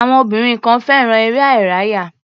Àwọn obìnrin kan fẹ́ràn eré-ìárayá.